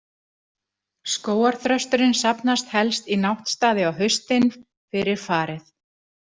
Skógarþrösturinn safnast helst í náttstaði á haustin, fyrir farið.